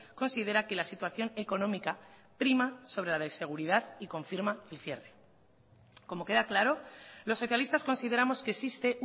considera que la situación económica prima sobre la de seguridad y confirma el cierre como queda claro los socialistas consideramos que existe